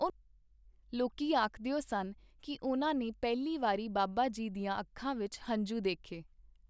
ਲੋਕੀ ਆਖਦਿਓ ਸਨ ਕੀ ਉਨ੍ਹਾਂ ਨੇ ਪਹਿਲੀ ਵਾਰੀ ਬਾਬਾ ਜੀ ਦੀਆਂ ਅੱਖਾਂ ਵਿੱਚ ਹੰਝੂ ਦੇਖੇ.